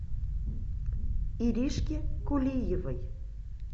иришке кулиевой